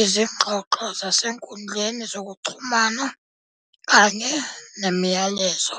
izingxoxo zasezinkundleni zokuxhumana kanye nemiyalezo."